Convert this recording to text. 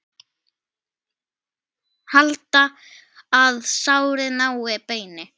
Halda, að sárið nái beini.